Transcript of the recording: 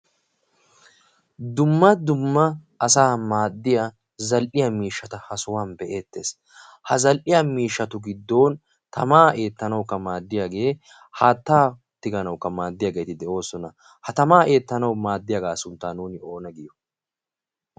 Dumma dumma asa maaddiya zal'iya miishshata ha sohuwan be'eettees ha zal'iya miishshatu giddon tamaa eettanaukka maaddiyaagee haattaa tiganaukka maaddiyaageeti de7oosona ha tamaa eettanau maaddiyaagaa sunttan nuuni oona giyo?